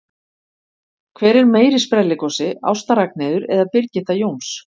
Hver er meiri sprelligosi, Ásta Ragnheiður eða Birgitta Jóns?